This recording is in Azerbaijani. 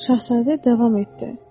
Şahzadə davam etdi: